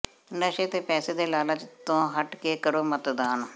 ਨਸ਼ੇ ਤੇ ਪੈਸੇ ਦੇ ਲਾਲਚ ਤੋਂ ਹਟ ਕੇ ਕਰੋ ਮਤਦਾਨ